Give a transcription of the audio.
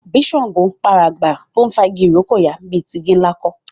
bí ṣàngó ń p'àràbà tó ń fà ìrókò yá ní tí igi-nla kò